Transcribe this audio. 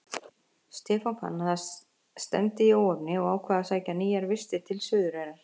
Stefán fann að stefndi í óefni og ákvað að sækja nýjar vistir til Suðureyrar.